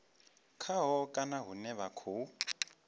khaho kana hune vha khou